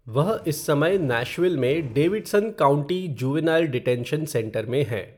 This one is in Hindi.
वह इस समय नैशविल में Davidson county juvenile detention centre में है।